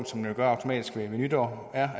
som man gør automatisk ved nytår er